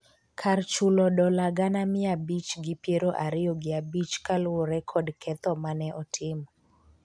kar chulo dola gana mia abich gi piero ariyo gi abich kaluwore kod ketho mane otimo